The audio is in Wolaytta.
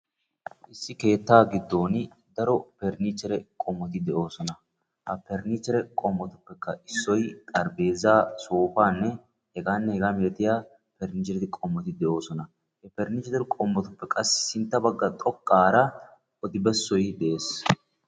Issi keettaa giddooni cora parniichchere qommoti de'oosona. Ha parnniichvhere qommotuppekka issoy xarphpheezaa, soofaanne h.h.m parnniichchere qommoti de'oosona. He parnniichche qommotuppe qassi sintta bagga xoqqaara odi bessoy dees.